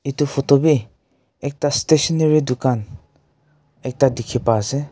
etu photo bhi ekta stationery dukaan ekta dekhi pai ase.